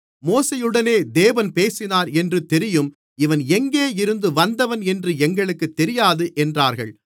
மோசேயுடனே தேவன் பேசினார் என்று தெரியும் இவன் எங்கே இருந்து வந்தவன் என்று எங்களுக்குத் தெரியாது என்றார்கள்